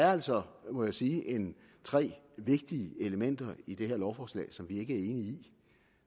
er altså må jeg sige tre vigtige elementer i det her lovforslag som vi ikke i